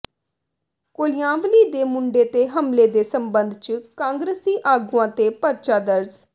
ਕੋਲਿਆਂਵਾਲੀ ਦੇ ਮੁੰਡੇ ਤੇ ਹਮਲੇ ਦੇ ਸਬੰਧ ਚ ਕਾਂਗਰਸੀ ਆਗੂਆਂ ਤੇ ਪਰਚਾ ਦਰਜ਼